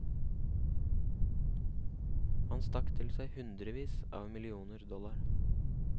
Han stakk til seg hundrevis av millioner dollar.